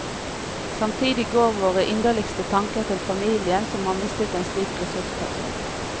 Samtidig går våre inderligste tanker til familien som har mistet en slik ressursperson.